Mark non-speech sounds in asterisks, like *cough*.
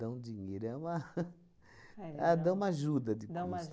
dinheiro, é uma... *laughs* É, dão uma ajuda de custo.